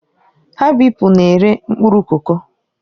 Habibu na-ere mkpụrụ koko.